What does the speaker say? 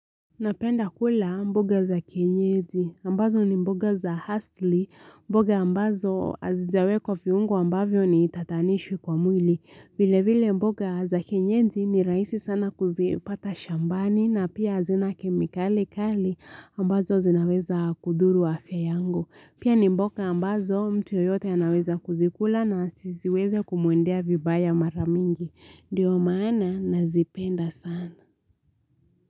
Napenda kula mboga za kenyeji ambazo ni mboga za hastily mboga ambazo azijawekwa viungo ambavyo nitatanishi kwa mwili vile vile mboga za kenyeji ni raisi sana kuzipata shambani na pia hazina kemikali kali ambazo zinaweza kudhuru afya yangu pia ni mboga ambazo mtu yoyote anaweza kuzikula na sisiweze kumuendea vibaya maramingi ndiyo maana nazipenda sana.